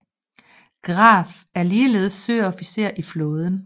Graf er ligeledes søofficer i flåden